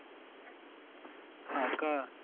हा का?